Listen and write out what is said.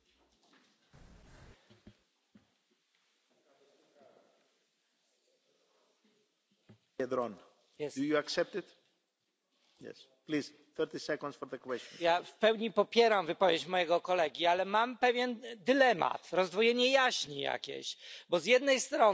W pełni popieram wypowiedź mojego kolegi, ale mam pewien dylemat, jakieś rozdwojenie jaźni, bo z jednej strony Pan mówi w imieniu swojej grupy politycznej, że trzeba bronić wartości europejskich, że trzeba rozmawiać, a z drugiej strony są koledzy i koleżanki z Węgier, którzy tym wartościom zaprzeczają.